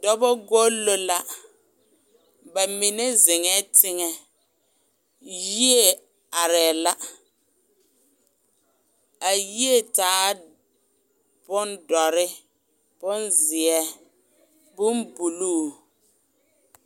Dɔba golo la ba mine zeŋɛ teŋɛ , yie are la a yie taa bon doɔre. bonzeɛ bon buluu.